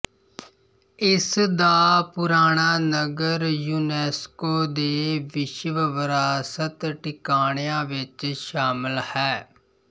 ਇਸ ਦਾ ਪੁਰਾਣਾ ਨਗਰ ਯੁਨੈਸਕੋ ਦੇ ਵਿਸ਼ਵ ਵਿਰਾਸਤ ਟਿਕਾਣਿਆਂ ਵਿੱਚ ਸ਼ਾਮਲ ਹੈ